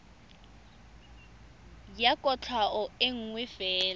ya kwatlhao e nngwe fela